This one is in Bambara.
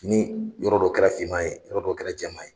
Ni yɔrɔ dɔ kɛra finma ye yɔrɔ dɔ kɛra jɛma ye.